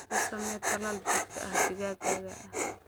U samee talaal joogto ah digaaggaaga.